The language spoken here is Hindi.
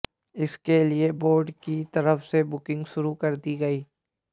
इसके लिए बोर्ड की तरफ से बुकिंग शुरू कर दी गई